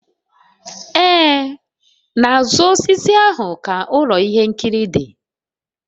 Ee, n'azụ osisi ahụ ka ụlọ ihe nkiri dị